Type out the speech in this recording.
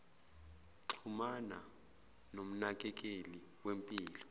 xhumana nomnakekeli wempilo